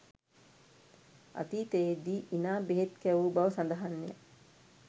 අතීතයේ දී ඉනා බෙහෙත් කැවූ බව සඳහන්ය